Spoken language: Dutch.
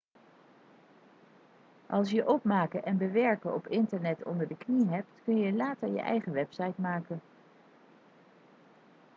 als je opmaken en bewerken op internet onder de knie hebt kun je later je eigen website maken